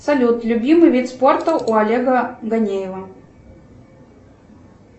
салют любимый вид спорта у олега данилова